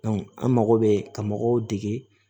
an mago bɛ ka mɔgɔw dege